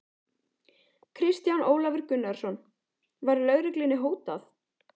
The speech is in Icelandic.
Kristján Ólafur Gunnarsson: Var lögreglunni hótað?